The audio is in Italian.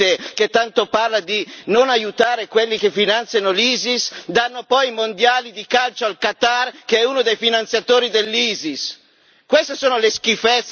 Oppure perché questo Occidente, che tanto parla di non aiutare quelli che finanziano l'Isis, concede poi i Mondiali di calcio al Qatar, che è uno dei finanziatori dell'Isis?